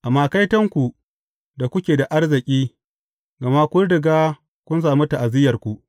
Amma kaitonku da kuke da arziki, gama kun riga kun sami ta’aziyyarku.